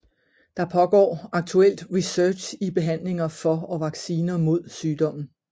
Der pågår aktuelt research i behandlinger for og vacciner mod sygdommen